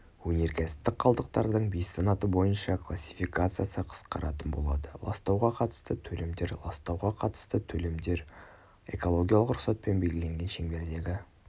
өнеркәсіптік қалдықтардың бес санаты бойынша классификациясы қысқаратын болады ластауға қатысты төлемдер ластауға қатысты төлемдер экологиялық рұқсатпен белгіленген шеңбердегі